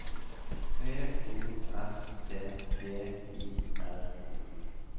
P O S T G I R O